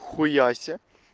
хуясе